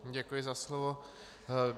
Děkuji za slovo.